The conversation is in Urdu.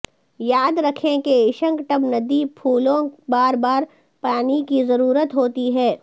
یاد رکھیں کہ اشنکٹبندیی پھول بار بار پانی کی ضرورت ہوتی ہے